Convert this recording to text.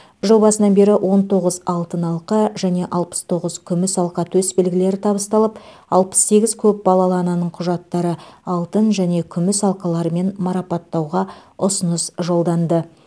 жыл басынан бері он тоғыз алтын алқа және алпыс тоғыз күміс алқа төсбелгілері табысталып алпыс сегіз көп балалы ананың құжаттары алтын және күміс алқаларымен марапаттауға ұсыныс жолданды